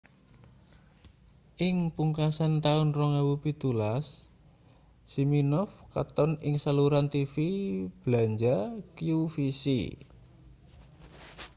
ing pungkasan taun 2017 siminoff katon ing saluran tv blanja qvc